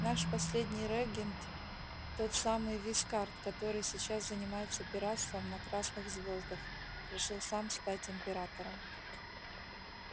наш последний регент тот самый вискард который сейчас занимается пиратством на красных звёздах решил сам стать императором